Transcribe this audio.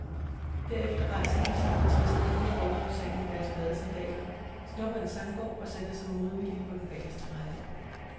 Derefter rejser de sig og trisser ned mod foredragssalen i deres badesandaler, snupper en sangbog og sætter sig modvillige på den bageste række.